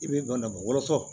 I bɛ banabaatɔ